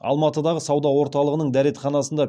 алматыдағы сауда орталығының дәретханасында